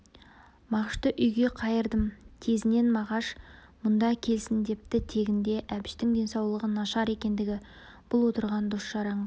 мағышты үйге қайырдым тезінен мағаш мұнда келсін депті тегінде әбіштің денсаулығы нашар екендігі бұл отырған дос-жаранға